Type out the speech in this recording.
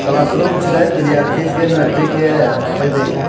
class room छै गे विद्यार्थी के मेट्रिक के अथि --